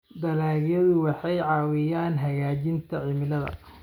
Dalagyadu waxay caawiyaan hagaajinta cimilada.